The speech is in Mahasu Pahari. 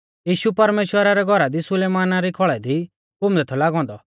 यीशु परमेश्‍वरा रै घौरा दी सुलैमाना री खौल़ै दी घूमदै थौ लागौ औन्दौ